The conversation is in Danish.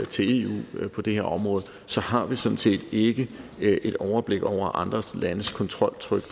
til eu på det her område så har vi sådan set ikke et overblik over andre landes kontroltryk